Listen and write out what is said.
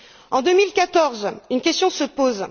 En 2014, une question se pose.